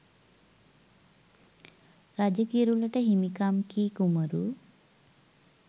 රජ කිරුළට හිමි කම් කී කුමරු